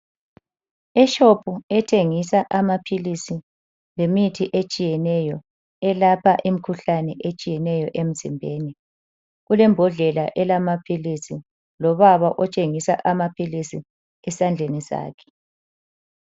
EShop ethengisa amaphilisi lemithi etshiyeneyo elapha imikhuhlane etshiyeneyo emzimbeni. Kulembodlela elamaphilisi lobaba otshingisa amaphilisi esandleni sakhe.